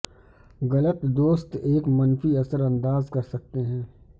غلط دوست ایک منفی اثر انداز کر سکتے ہیں